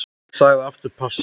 Hann sagði aftur pass.